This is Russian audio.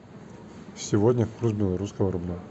сегодня курс белорусского рубля